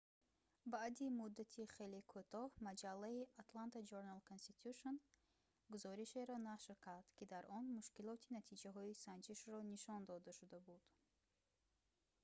баъди муддати хеле кӯтоҳ маҷаллаи «atlanta journal-constitution» гузоришеро нашр кард ки дар он мушкилоти натиҷаҳои санҷишро нишон дода шуда буд